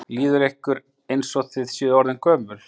Líður ykkur eins og þið séu orðin gömul?